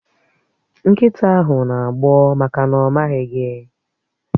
Nkịta ahụ na-agbọ́ maka na ọ̀ maghị gi